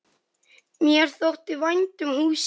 Mér þótti vænt um húsið.